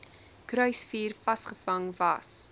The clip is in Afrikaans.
kruisvuur vasgevang was